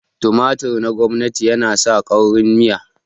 tumatur na gwamnatin yana sa kaurin miya